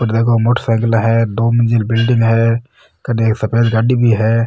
अठे देखो मोटर साईकला है दो मंजिल बिल्डिंग है कने एक सफेद गाड़ी भी है।